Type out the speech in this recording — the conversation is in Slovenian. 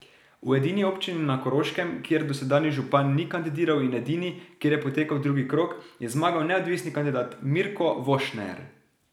V edini občini na Koroškem, kjer dosedanji župan ni kandidiral in edini, kjer je potekal drugi krog, je zmagal neodvisni kandidat Mirko Vošner.